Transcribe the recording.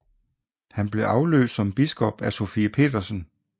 Han blev afløst som biskop af Sofie Petersen